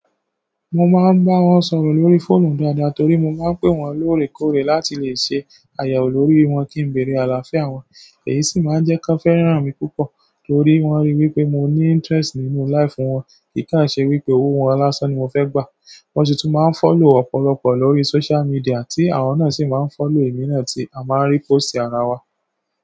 Mo máa ń bá wọn sọ̀rọ̀ lórí fóònù dáadáa torí mo máa ń pé wọ́n lóòrèkóòrè láti lè ṣe àyẹ̀wò lórí wọn kí n lè bèèrè àlàáfíà wọn. Èyí sì máa ń jẹ́ kí wọ́n fẹ́ràn mi púpọ̀ torí wọ́n ríi wípé mo ní interest nínú life wọn, kìkàn ṣe wípé owó wọn lásán ni mo fẹ́ gbà. Wọn sì tún máa ń follow ọ̀pọ̀lọpọ̀ lórí social media tí àwọn náà sì máa ń follow èmi náà tí a máa ń rí post ara wa.